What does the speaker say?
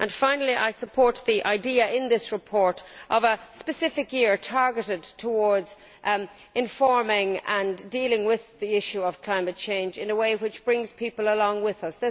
Finally I support the idea in this report of a specific year targeted towards providing information and dealing with the issue of climate change in a way which brings people along with us.